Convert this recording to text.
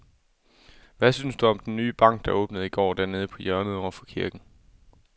Hvad synes du om den nye bank, der åbnede i går dernede på hjørnet over for kirken?